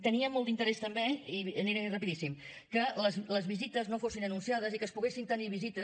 tenia molt d’interès també i aniré rapidíssim que les visites no fossin anunciades i que es poguessin tenir visites